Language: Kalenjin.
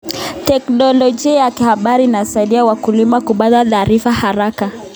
Teknolojia ya habari inasaidia wakulima kupata taarifa haraka.